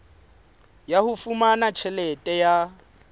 ya ho fumana tjhelete ya